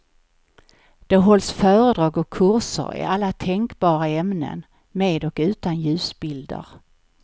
Det hålls föredrag och kurser i alla tänkbara ämnen, med och utan ljusbilder.